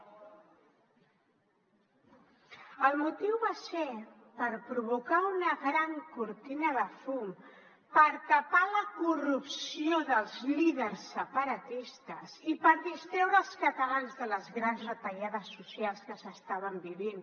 el motiu va ser per provocar una gran cortina de fum per tapar la corrupció dels líders separatistes i per distreure els catalans de les grans retallades socials que s’estaven vivint